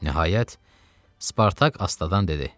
Nəhayət, Spartak Astadan dedi: